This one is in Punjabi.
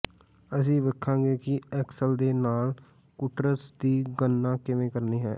ਅਸੀਂ ਵੇਖਾਂਗੇ ਕਿ ਐਕਸਲ ਦੇ ਨਾਲ ਕੁਟੁਰਸ ਦੀ ਗਣਨਾ ਕਿਵੇਂ ਕਰਨੀ ਹੈ